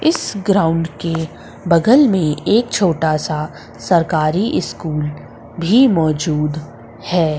इस ग्राउंड के बगल में एक छोटा सा सरकारी स्कूल भी मौजूद है।